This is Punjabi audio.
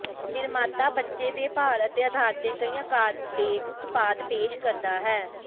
ਨਿਰਮਾਤਾ ਬੱਚੇ ਦੇ ਭਾਰ ਦੇ ਆਧਾਰ ਤੇ ਕਈ ਅਕਾਰ ਦੇ ਉਤਪਾਦ ਪੇਸ਼ ਕਰਦਾ ਹੈ